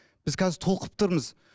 біз қазір толқып тұрмыз